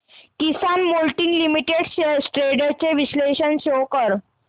किसान moulding limited shares trends चे विश्लेषण show कर